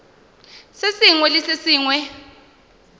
se sengwe le se sengwe